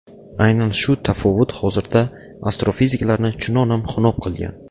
Aynan shu tafovut hozirda astrofiziklarni chunonam xunob qilgan.